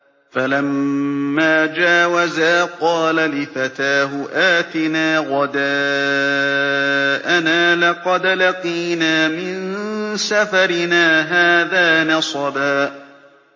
فَلَمَّا جَاوَزَا قَالَ لِفَتَاهُ آتِنَا غَدَاءَنَا لَقَدْ لَقِينَا مِن سَفَرِنَا هَٰذَا نَصَبًا